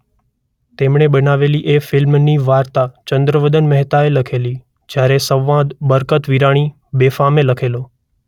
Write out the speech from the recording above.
તેમણે બનાવેલી એ ફિલ્મની વાર્તા ચંદ્રવદન મહેતાએ લખેલી જયારે સંવાદ બરકત વિરાણી 'બેફામે' લખેલો.